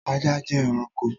Ajá jẹ́ ẹranko t